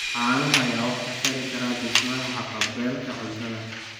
Caanaha ayaa wax ka tari kara dhismaha haqab-beelka cuntada.